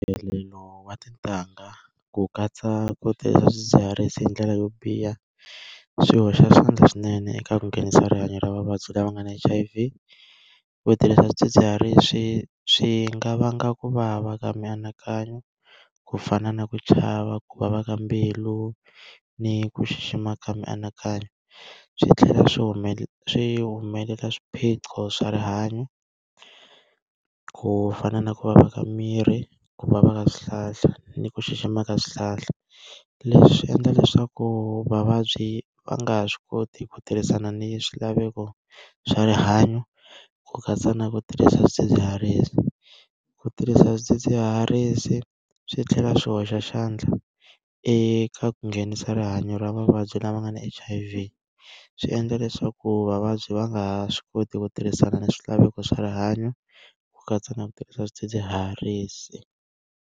Wa tintangha ku katsa ku tirhisa swidzidziharisi hi ndlela yo biha, swi hoxa xandla swinene eka ku nghenisa rihanyo ra vavabyi lava nga na H_I_V. Ku tirhisa swidzidziharisi swi nga vanga ku vava ka mianakanyo, ku fana na ku chava, ku vava ka mbilu, ni ku xixima ka mianakanyo. Swi tlhela swi swi swiphiqo swa rihanyo ku fana na ku vava ka miri, ku vava ka swihlahla, ni ku xixima ka swihlahla. Leswi endla leswaku vavabyi va nga ha swi koti ku tirhisana ni swilaveko swa rihanyo ku katsa na ku tirhisa swidzidziharisi. Ku tirhisa swidzidziharisi swi tlhela swi hoxa xandla eka ku nghenisa rihanyo ra mavabyi lama nga ni H_I_V. Swi endla leswaku vavabyi va nga ha swi koti ku tirhisana ni swilaveko swa rihanyo, ku katsa na ku tirhisa swidzidziharisi.